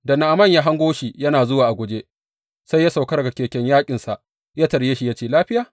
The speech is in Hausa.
Da Na’aman ya hango shi yana zuwa a guje, sai ya sauka daga keken yaƙinsa ya tarye shi ya ce, Lafiya?